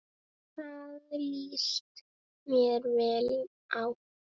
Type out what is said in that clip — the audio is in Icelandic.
Það líst mér vel á.